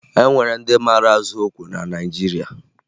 E nwere ndị mara azụ okwe na Naịjirịa